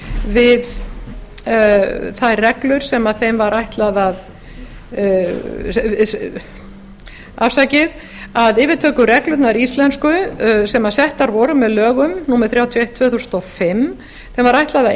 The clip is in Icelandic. við þær reglur sem þeim var ætlað að afsakið að yfirtökureglunum íslensku sem settar voru með lögum númer þrjátíu og eitt tvö þúsund og fimm var ætlað að